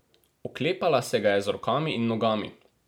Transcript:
Oklepala se ga je z rokami in nogami.